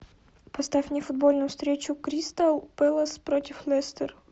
поставь мне футбольную встречу кристал пэлас против лестер